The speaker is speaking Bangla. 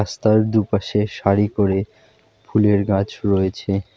রাস্তার দু'পাশে সারি করে ফুলের গাছ রয়েছে।